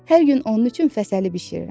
Hər gün onun üçün fəsəli bişirirəm.